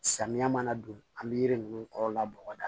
Samiya mana don an be yiri nunnu kɔrɔla bɔgɔ da